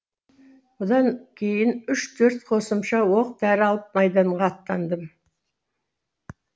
бұдан кейін үш төрт қосымша оқ дәрі алып майданға аттандым